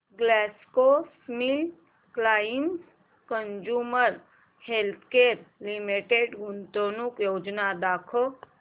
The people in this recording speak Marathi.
ग्लॅक्सोस्मिथक्लाइन कंझ्युमर हेल्थकेयर लिमिटेड गुंतवणूक योजना दाखव